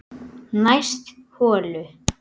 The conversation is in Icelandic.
Næst holu